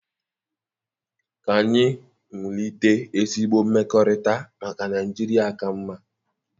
Ka anyị wulite ezigbo mmekọrịta maka Naịjirịa ka mma.